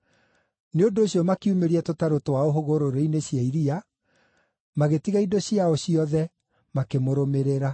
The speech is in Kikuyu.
Nĩ ũndũ ũcio makiumĩria tũtarũ twao hũgũrũrũ-inĩ cia iria, magĩtiga indo ciao ciothe, makĩmũrũmĩrĩra.